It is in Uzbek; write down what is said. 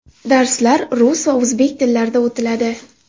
Darslar rus va o‘zbek tillarida o‘tiladi!